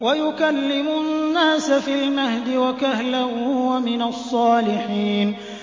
وَيُكَلِّمُ النَّاسَ فِي الْمَهْدِ وَكَهْلًا وَمِنَ الصَّالِحِينَ